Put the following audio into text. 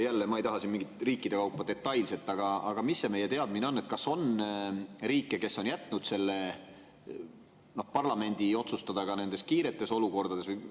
Jälle, ma ei taha mingit detailset riikide kaupa, aga mis on meie teadmine, kas on riike, kes on jätnud selle parlamendi otsustada ka nendes kiiretes olukordades?